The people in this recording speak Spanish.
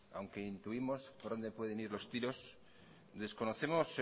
aunque intuimos por donde pueden ir los tiros desconocemos